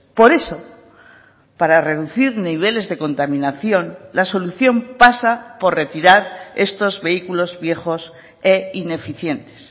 por eso para reducir niveles de contaminación la solución pasa por retirar estos vehículos viejos e ineficientes